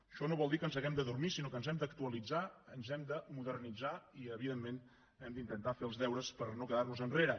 això no vol dir que ens hàgim d’adormir sinó que ens hem d’actualitzar ens hem de modernitzar i evidentment hem d’intentar fer els deures per no quedar nos enrere